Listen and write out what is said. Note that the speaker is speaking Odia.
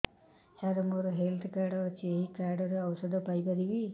ସାର ମୋର ହେଲ୍ଥ କାର୍ଡ ଅଛି ଏହି କାର୍ଡ ରେ ଔଷଧ ପାଇପାରିବି